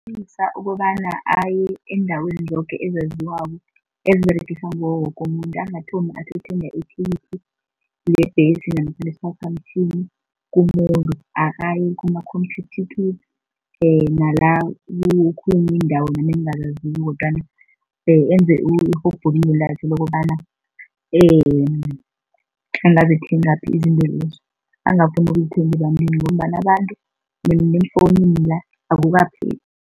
Ukobana aye eendaweni zoke ezaziwako eziberegiswa nguwo woke umuntu, angathomi athi uthenga ithikithi lebhesi namkha lesiphaphamtjhini kumuntu, akaye kuma-Computicket nala kokhunye indawo nami engingazaziko kodwana enze irhubhululo lakhe lokobana angazithengaphi izinto lezo. Angafuni ukuzithenga ebantwini ngombana abantu neemfowunini la akukaphephi.